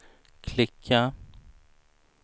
klicka